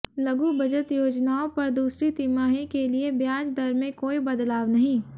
लघु बचत योजनाओं पर दूसरी तिमाही के लिये ब्याज दर में कोई बदलाव नहीं